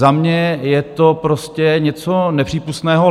Za mě je to prostě něco nepřípustného.